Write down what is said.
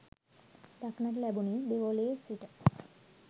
දක්නට ලැබුණේ දෙවොලේ සිට